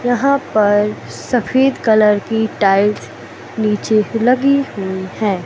यहां पर सफेद कलर की टाइल्स नीचे लगी हुई हैं।